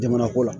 Jamana ko la